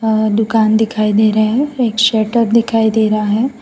और दुकान दिखाई दे रहा है एक शटर दिखाई दे रहा है।